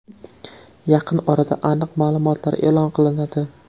Yaqin orada aniq ma’lumotlar e’lon qilinadi.